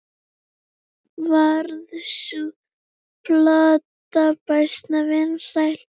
Varð sú plata býsna vinsæl.